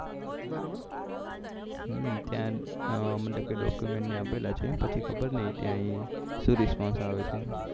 ત્યાં મતલબ કે document આપેલા છે પછી ખબર નહી ત્યાં શું respons આવે છે